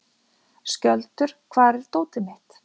Skjöldur, hvar er dótið mitt?